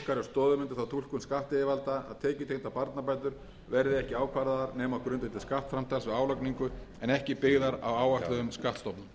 túlkun skattyfirvalda að tekjutengdar barnabætur verði ekki ákvarðaðar nema á grundvelli skattframtals við álagningu en ekki byggðar á áætluðum skattstofnum